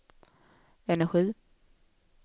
energi